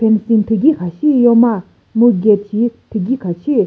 fencing thügi kha shi yo ma mu gate shi thügi kha shi.